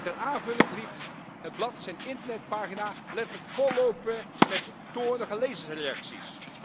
Ter aanvulling liet het blad zijn internetpagina letterlijk vollopen met toornige lezersreacties.